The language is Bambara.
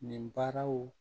Nin baaraw